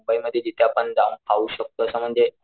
मुंबई मधी जिथे आपण जाऊन खाऊ शकतो असं म्हणजे,